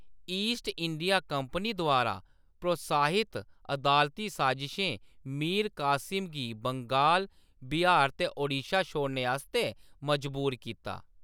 East India Company द्वारा प्रोत्साहित अदालती साज़िशें मीर कासिम गी बंगाल, बिहार ते ओडिशा छोड़ने आस्तै मजबूर कीता।